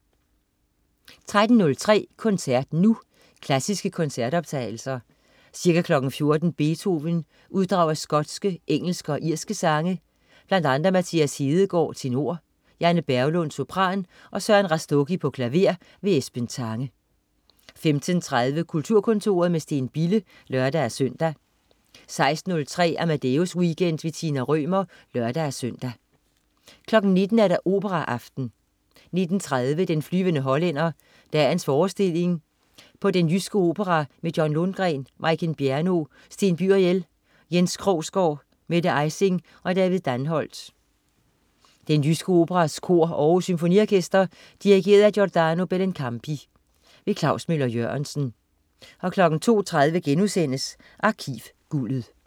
13.03 Koncert Nu. Klassiske koncertoptagelser. Ca. 14.00 Beethoven: Uddrag af skotske, engelske og irske sange. Bl.a. Mathias Hedegaard, tenor, Janne Berglund, sopran, og Søren Rastogi, klaver. Esben Tange 15.30 Kulturkontoret med Steen Bille (lør-søn) 16.03 Amadeus Weekend. Tina Rømer (lør-søn) 19.00 Operaaften. 19.30 Den flyvende hollænder, dagens forestilling på Den jyske Opera med John Lundgren, Majken Bjerno, Sten Byriel, Jens Krogsgaard, Mette Ejsing og David Danholt. Den Jyske Operas kor og Aarhus Symfoniorkester. Dirigent: Giordano Bellincampi. Klaus Møller-Jørgensen 02.30 Arkivguldet*